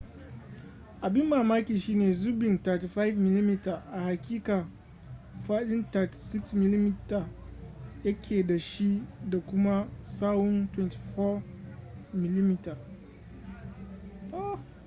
abin mamaki shine zubin 35mm a haƙiƙa fadin 36mm ya ke da shi da kuma tsawon 24mm